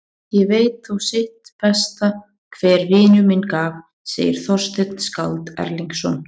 Ég veit þó sitt besta hver vinur mér gaf, segir Þorsteinn skáld Erlingsson.